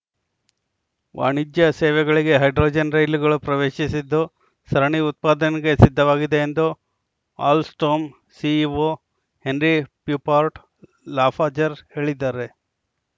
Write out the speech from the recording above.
ವಾಣಿಜ್ಯ ಸೇವೆಗಳಿಗೆ ಹೈಡ್ರೋಜನ್‌ ರೈಲುಗಳು ಪ್ರವೇಶಿಸಿದ್ದು ಸರಣಿ ಉತ್ಪಾದನೆಗೆ ಸಿದ್ಧವಾಗಿದೆ ಎಂದು ಅಲ್‌ಸ್ಟೋಮ್‌ ಸಿಇಒ ಹೆರ್ನಿ ಪ್ಯುಪಾರ್ಟ್‌ ಲಾಫಾಜ್‌ರ್‍ ಹೇಳಿದ್ದಾರೆ